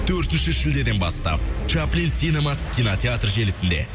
төртінші шілдеден бастап чаплин синемас кинотеатр желісінде